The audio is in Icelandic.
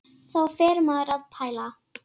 Þá fer maður að pæla.